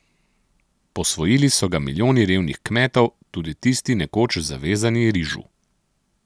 Posvojili so ga milijoni revnih kmetov, tudi tisti nekoč zavezani rižu.